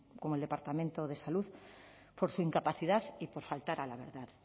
como el departamento de salud por su incapacidad y por faltar a la verdad